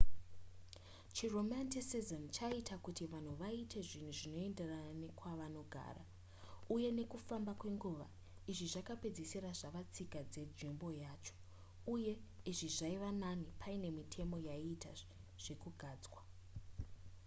chiromanticism chaiita kuti vanhu vaite zvinhu zvinoenderana nekwavanogara uye nekufamba kwenguva izvi zvakapedzesira zvava tsika dzenzvimbo yacho uye izvi zvaiva nani pane mitemo yaiita zvekugadzwa